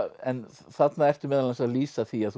en þarna ertu meðal annars að lýsa því að þú